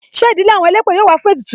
Ṣé ìdílé àwọn elépè yọ wá fún ètùtù?